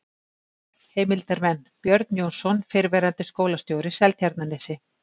Heimildarmenn: Björn Jónsson, fyrrverandi skólastjóri, Seltjarnarnesi